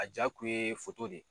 A ja tun ye fut boli de ye